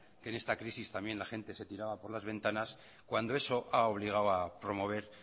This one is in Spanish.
que en esta crisis también la gente se tiraba por las ventanas cuando eso ha obligado a promover